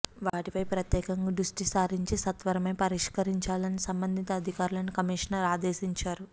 వాటిపై ప్రత్యేకంగా దృష్టిసారించి సత్వరమే పరిష్కరించాలని సంబంధిత అధికారులను కమిషనర్ ఆదేశించారు